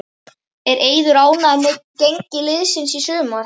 Er Eiður ánægður með gengi liðsins í sumar?